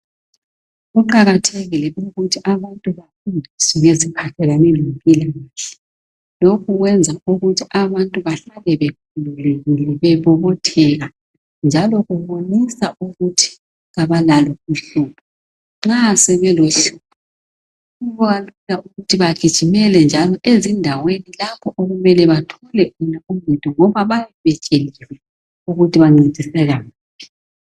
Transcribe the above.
Kuqakathekile ukuthi abantu bafundiswe ngezi phathelene lempilakahle lokhu kwenza ukuthi abantu bahlale bekhululekile bebobotheka njalo okubonisa ukuthi abalalo uhlupho nxa sebelohlupho kubalula njalo ukuthi bagijimele ezindaweni lapho okumele bathole uncendo ngoba bayabe sebekwazi ukuthi bancediseka kuphi